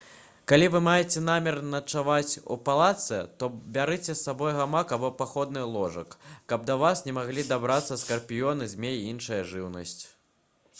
калі вы маеце намер начаваць у палатцы то бярыце з сабой гамак або паходны ложак каб да вас не маглі дабрацца скарпіёны змеі і іншая жыўнасць